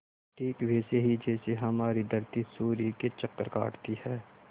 ठीक वैसे ही जैसे हमारी धरती सूर्य के चक्कर काटती है